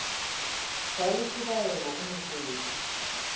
sa le tlhobaelo go mofepi